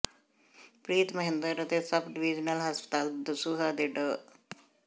ਪ੍ਰੀਤ ਮਹਿੰਦਰ ਅਤੇ sub divisional ਹਸਪਤਾਲ ਦਸੂਹਾ ਦੇ ਡਾ